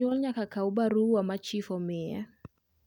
janyuol nyaka Kaw barua machif omiye